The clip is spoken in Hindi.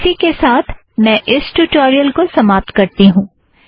इसी के साथ मैं इस ट्यूटोरियल को समाप्त करती हूँ